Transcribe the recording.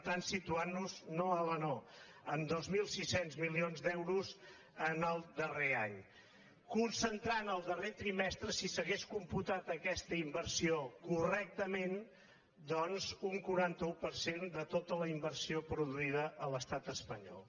ant·nos no hala no en dos mil sis cents milions d’euros en el darrer any concentrant el darrer trimestre si s’ha·gués computat aquesta inversió correctament doncs un quaranta un per cent de tota la inversió produïda a l’estat espanyol